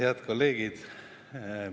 Head kolleegid!